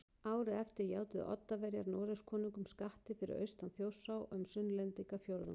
Árið eftir játuðu Oddaverjar Noregskonungum skatti fyrir austan Þjórsá um Sunnlendingafjórðung